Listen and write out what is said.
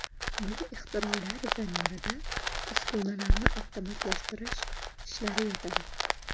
Bu ixtirolar zamirida uskunalarni avtomatlashtirish ishlari yotadi.